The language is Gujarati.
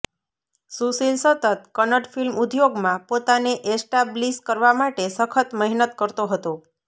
સુશીલ સતત કન્નડ ફિલ્મ ઉદ્યોગમાં પોતાને એસ્ટાબ્લિસ કરવા માટે સખત મહેનત કરતો હતો